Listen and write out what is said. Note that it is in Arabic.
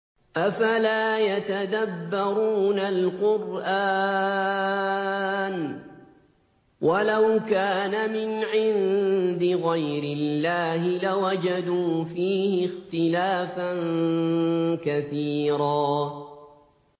أَفَلَا يَتَدَبَّرُونَ الْقُرْآنَ ۚ وَلَوْ كَانَ مِنْ عِندِ غَيْرِ اللَّهِ لَوَجَدُوا فِيهِ اخْتِلَافًا كَثِيرًا